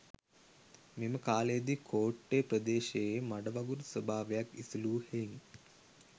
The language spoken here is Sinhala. මෙම කාලයේදී කෝට්ටේ ප්‍රදේශය මඩවගුරු ස්වාභාවයක් ඉසිලූ හෙයින්